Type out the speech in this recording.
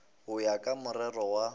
go ya ka morero wa